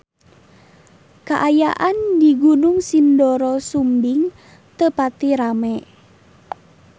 Kaayaan di Gunung Sindoro Sumbing teu pati rame